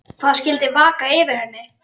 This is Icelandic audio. Hvað skyldi vaka fyrir henni?